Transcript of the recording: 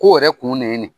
Ko yɛrɛ kun ne ye nin